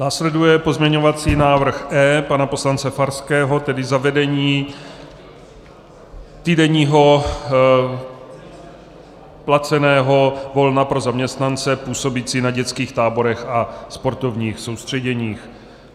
Následuje pozměňovací návrh E pana poslance Farského, tedy zavedení týdenního placeného volna pro zaměstnance působící na dětských táborech a sportovních soustředěních.